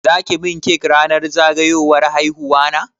Za ki min cake ranar zagayowar haihuwana?